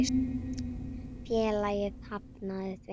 Félagið hafnaði því.